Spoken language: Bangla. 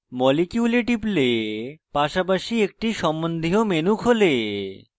molecule a টিপলে পাশাপাশি একটি সম্বন্ধীয় menu খোলে